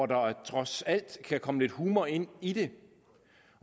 der trods alt kan komme lidt humor ind i det